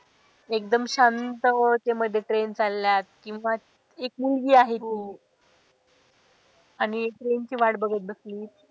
एकदम शांत ते मध्ये train चालल्यात किंवा एक मुलगी आहे ती. आणि train ची वाट बघत बसली.